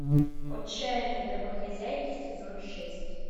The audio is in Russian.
отчаянные домохозяйки сезон шесть